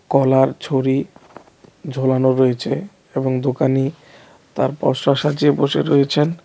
কলার ছড়ি ঝোলানো রয়েছে এবং দোকানি তার পশরা সাজিয়ে বসে রয়েছেন .